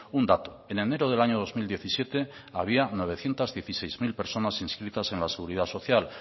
un dato en enero del año dos mil diecisiete había novecientos dieciséis mil personas inscritas en la seguridad social